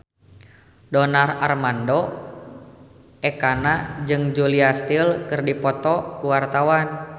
Donar Armando Ekana jeung Julia Stiles keur dipoto ku wartawan